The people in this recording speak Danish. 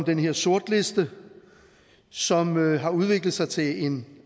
den her sortliste som har udviklet sig til en